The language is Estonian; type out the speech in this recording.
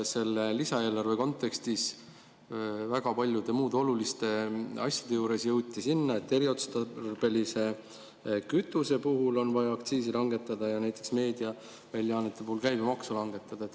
Selle lisaeelarve kontekstis jõuti väga paljude muude oluliste asjade juures sinna, et eriotstarbelisel kütusel on vaja aktsiisi langetada ja näiteks meediaväljaannetel käibemaksu langetada.